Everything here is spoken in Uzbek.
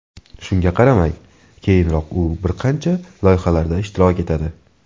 Shunga qaramay, keyinroq u bir qancha loyihalarda ishtirok etadi.